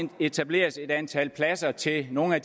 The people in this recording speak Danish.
etableres et antal pladser til nogle af